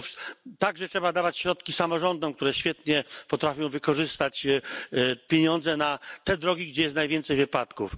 Trzeba także udostępniać środki samorządom, które świetnie potrafią wykorzystać pieniądze na te drogi, gdzie jest najwięcej wypadków.